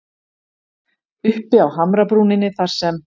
Uppi á hamrabrúninni þar sem